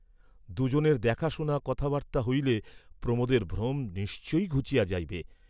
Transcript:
দুজনের দেখা শুনা কথাবার্তা হইলে প্রমোদের ভ্রম নিশ্চয়ই ঘুচিয়া যাইবে।